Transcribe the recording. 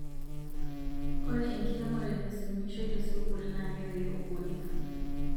Ore enkiremore nasumishoi tesukul na kepik ubunifu